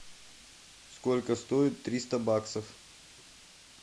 сколько стоит триста баксов